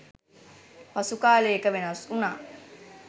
පසු කාලයක වෙනස් වුණා..